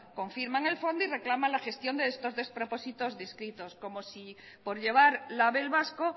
confirman el fondo y reclaman la gestión de estos despropósitos distritos como si por llevar label vasco